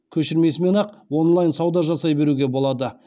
көшірмесімен ақ онлайн сауда жасай беруге болады